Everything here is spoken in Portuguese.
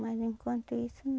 Mas enquanto isso